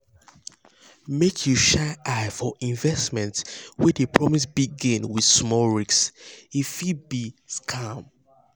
make you shine eye for investment wey dey promise big gain with small risk e fit be scam.